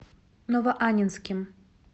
новоаннинским